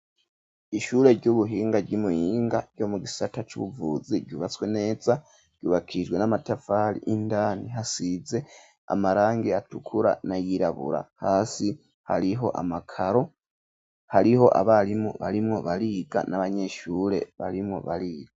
Ishure ry'ubuhinga ryi Muyinga ryo mu gisata c'ubuvuzi ryubatswe neza ryubakishijwe n'amatafari indani hasize amarangi atukura na yirabura hasi hariho amakaro hariho abarimu barimmwo bariga n'abanyeshure barimwo bariga.